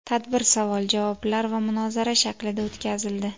Tadbir savol-javoblar va munozara shaklida o‘tkazildi.